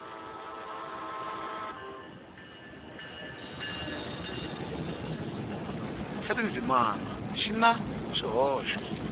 xa tindzimana xi na swihoxo